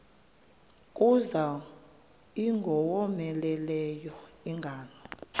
kuza ingowomeleleyo ingalo